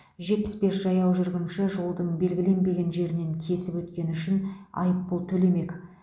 жетпіс бес жаяу жүргінші жолдың белгіленбеген жерінен кесіп өткені үшін айыппұл төлемек